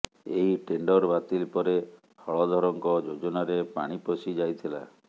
ଏହି ଟେଣ୍ଡର ବାତିଲ ପରେ ହଳଧରଙ୍କ ଯୋଜନାରେ ପାଣି ପଶି ଯାଇଥିଲା